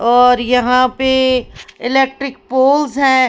और यहां पे इलेक्ट्रिक पोल्स है ।